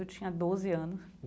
Eu tinha doze anos.